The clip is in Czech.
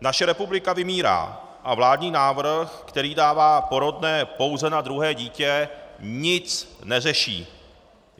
Naše republika vymírá a vládní návrh, který dává porodné pouze na druhé dítě, nic neřeší.